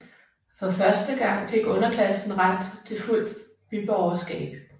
For første gang fik underklassen ret til fuldt byborgerskab